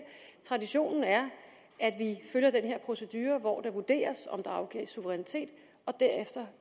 traditionen er at vi følger den her procedure hvor det vurderes om der afgives suverænitet og derefter